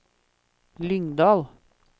Lyngdal